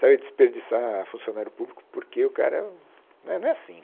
Sabe desperdiçar funcionário público porque o cara né não é assim.